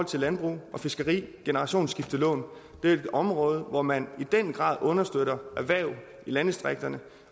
til landbrug og fiskeri det generationsskiftelån det er et område hvor man i den grad understøtter erhverv i landdistrikterne